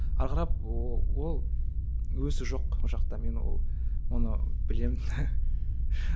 ары қарап ол ол өсу жоқ ол жақта мен ол оны білемін